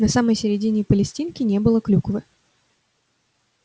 на самой середине палестинки не было клюквы